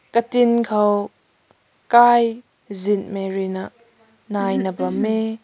katin kaw khai zin marui na nai na bam meh.